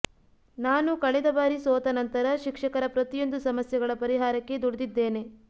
ನಾನು ಕಳೆದ ಬಾರಿ ಸೋತ ನಂತರ ಶಿಕ್ಷಕರ ಪ್ರತಿಯೊಂದು ಸಮಸ್ಯೆಗಳ ಪರಿಹಾರಕ್ಕೆ ದುಡಿದಿದ್ದೇನೆ